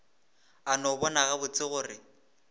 a no bona gabotse gore